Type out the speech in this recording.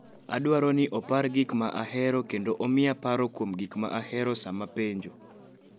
Adwaro ni opar gik ma ahero kendo omiya paro kuom gik ma ahero sama apenjo